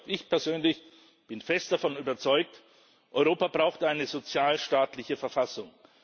Ich bin fest davon überzeugt, Europa braucht eine sozialstaatliche Verfassung.